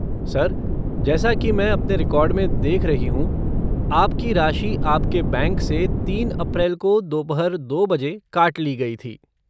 Sir, जैसा कि मैं अपने रिकॉर्ड में देख रही हूँ, आपकी राशि आपके बैंक से तीन अप्रैल को दोपहर दो बजे काट ली गई थी।